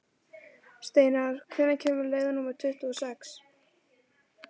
Steinar, hvenær kemur leið númer tuttugu og sex?